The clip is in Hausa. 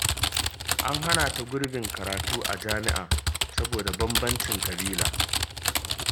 An hana ta gurbin karatu a jami’a saboda bambancin ƙabila